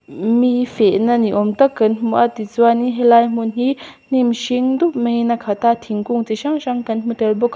mm mi fehna ni awmtak kan hmu a tichuan in helai hmun hi hnim hringdup maiin a khat a thingkung chi hrang hrang kan hmu tel bawk a--